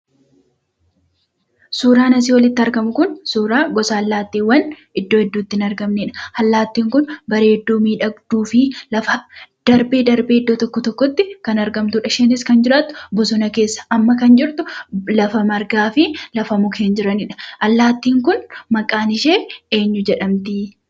Suuraan asii olitti argamu kun, suuraa gosa allaattiiwwaan iddoo hedduutti hin argamnedha. allaattiin kun bareedduu, miidhagduu fi darbee, darbee iddoo tokko ,tokkotti kan argamtudha. isheenis kan jiraattu bosona keessa. amma kan jirtu lafa margaa fi lafa mukeen jiranidha. allaattiin kun maqaaan ishee eenyu jedhamti?